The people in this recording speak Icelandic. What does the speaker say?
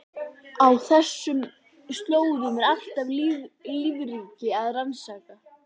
Á þessum slóðum er allt lífríki að raskast.